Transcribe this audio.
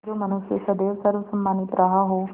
जो मनुष्य सदैव सर्वसम्मानित रहा हो